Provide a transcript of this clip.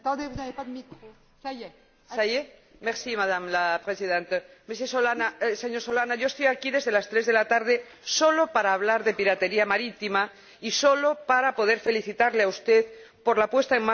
Señor Solana, estoy aquí desde las 3 de la tarde sólo para hablar de piratería marítima y sólo para poder felicitarle a usted por la puesta en marcha de la operación naval europea en contra de la piratería marítima en aguas del Índico.